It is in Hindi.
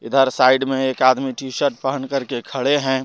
इधर साइड में एक आदमी टी शर्ट पहन कर के खड़े है।